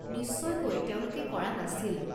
নিশ্চয়কৈ তেওঁলোকে কৰা নাছিল।